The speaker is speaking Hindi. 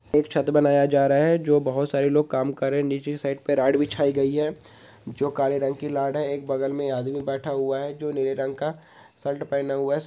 एक छत बनाया जा रहा है जो बहुत सारे लोग काम कर रहे है नीचे की साइड पे लाड बिछाई गयी है जो काले रंग की लाड है एक बगल में आदमी बैठा हुआ है जो नीले रंग का शर्ट पहना हुआ है।